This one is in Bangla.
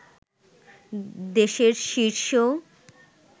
দেশের শীর্ষ